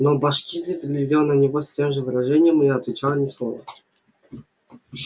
но башкирец глядел на него с тем же выражением и н отвечал ни слова